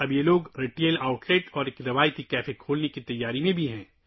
اب یہ لوگ ریٹیل آؤٹ لیٹ اور روایتی کیفے بھی کھولنے کی تیاری کر رہے ہیں